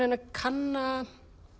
að kanna að